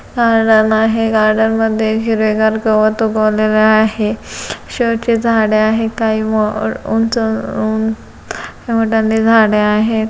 Garden आहे गार्डनमध्ये हिरवीगार गवत उगवलेले आहे. शो ची झाडे आहेत काही उंच झाडं आहेत.